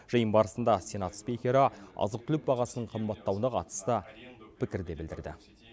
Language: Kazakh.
жиын барысында сенат спикері азық түлік бағасының қымбаттауына қатысты пікір де білдірді